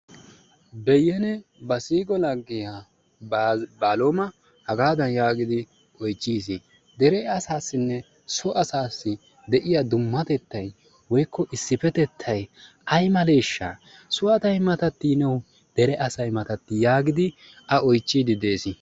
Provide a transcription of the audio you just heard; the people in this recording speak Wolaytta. Beyyene ba siiqo laggiya Baaloma hagadan yaagidi oychchiis, dere asassinne so asassi de'iyaa dummatettay woykko issippetettay ay malee? so asay matattiiyye niyo dere asay matattii? yaagidi a oychchiiddi de"es.